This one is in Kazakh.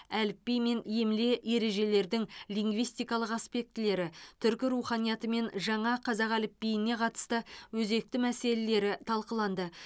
әліпби мен емле ережелердің лингвистикалық аспектілері түркі руханиятымен жаңа қазақ әліпбиіне қатысты өзекті мәселелері талқыланды